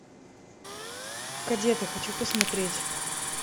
кадеты хочу посмотреть